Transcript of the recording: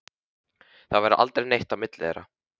Það varð aldrei neitt á milli þeirra.